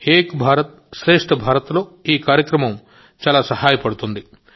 ఏక్ భారత్ శ్రేష్ఠ భారత్లో ఈ కార్యక్రమం చాలా దోహదపడుతుంది